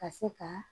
Ka se ka